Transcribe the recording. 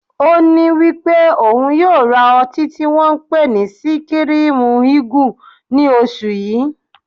Oní wípé ò ń yóò ra ọtí tí wón ń pè ní Síkírímú Igù ní oṣù yí.